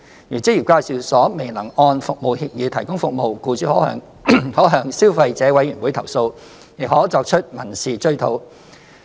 如職業介紹所未能按服務協議提供服務，僱主可向消費者委員會投訴，亦可作出民事追討。